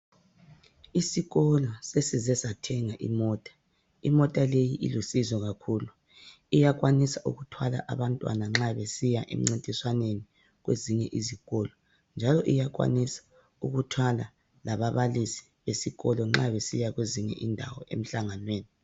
Isikolo sesize sathenga imota . Imota leyi ilusizo kakhulu. Iyakwanisa ukuthwala abantwana nxa besiya emncintiswaneni kwezinye izikolo. Njalo iyakwanisa ukuthwala lababalisi besikolo nxa besiya kwezinye indawo emhlanganweni.